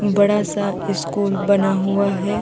बड़ा सा स्कूल बना हुआ है।